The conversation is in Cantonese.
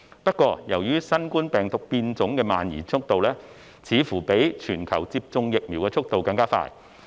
不過，由於新冠病毒變種的蔓延速度，似乎較全球接種疫苗的速度更快。